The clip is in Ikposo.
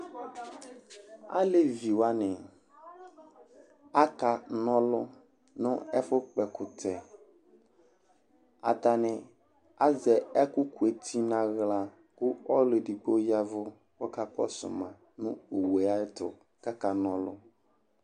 alevi wʋani akɔ na ɔlu nu ɛfu kpɔ ɛkutɛ, ata ni azɛ ɛku ku eti nu aɣla, ku ɔlu edigbo yavu ku aka kɔsu ma nu owu yɛ ayɛtu kaka na ɔlu